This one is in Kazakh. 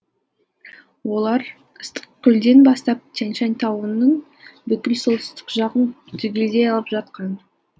олар ыстықкөлден бастап тянь шань тауының бүкіл солтүстік жағын түгелдей алып жатқан